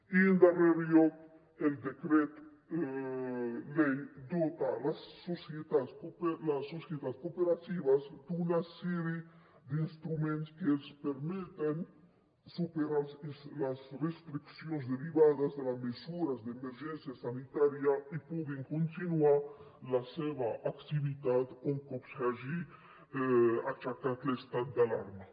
i en darrer lloc el decret llei dota les societats cooperatives d’una sèrie d’instruments que els permetin superar les restriccions derivades de la mesures d’emergència sanitària i puguin continuar la seva activitat un cop s’hagi aixecat l’estat d’alarma